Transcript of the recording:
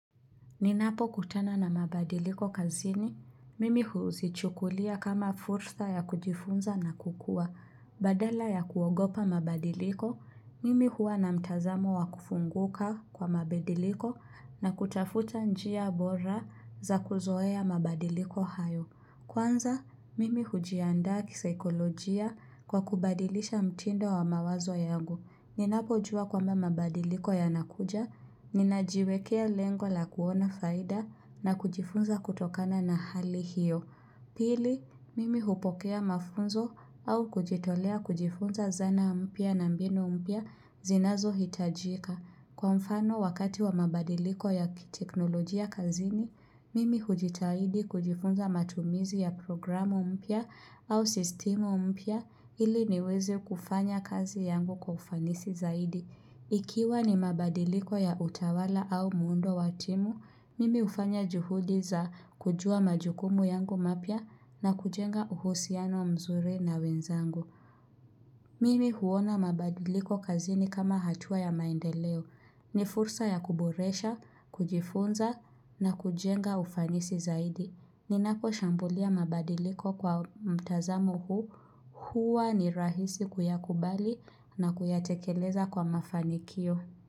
Ninapokutana na mabadiliko kazini, mimi huzichukulia kama furtha ya kujifunza na kukua, badala ya kuogopa mabadiliko, mimi hua na mtazamo wa kufunguka kwa mabadiliko na kutafuta njia bora za kuzoea mabadiliko hayo. Kwanza, mimi hujiandaa kisaikolojia kwa kubadilisha mtindo wa mawazo yangu. Ninapojua kwamba mabadiliko yanakuja, ninajiwekea lengo la kuona faida na kujifunza kutokana na hali hiyo. Pili, mimi hupokea mafunzo au kujitolea kujifunza zana mpya na mbinu mpya zinazohitajika. Kwa mfano wakati wa mabadiliko ya kiteknolojia kazini, mimi hujitahidi kujifunza matumizi ya programu mpya au sistemu mpya ili niweze kufanya kazi yangu kwa ufanisi zaidi. Ikiwa ni mabadiliko ya utawala au muundo wa timu, mimi hufanya juhudi za kujua majukumu yangu mapya na kujenga uhusiano mzuri na wenzangu. Mimi huona mabadiliko kazini kama hatua ya maendeleo. Ni fursa ya kuboresha, kujifunza na kujenga ufanisi zaidi. Ninaposhambulia mabadiliko kwa mtazamo huu huwa ni rahisi kuyakubali na kuyatekeleza kwa mafanikio.